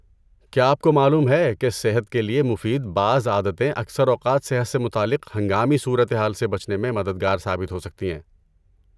کیا آپ کو معلوم ہے کہ صحت کے لیے مفید بعض عادتیں اکثر اوقات صحت سے متعلق ہنگامی صورتحال سے بچنے میں مددگار ثابت ہو سکتی ہیں؟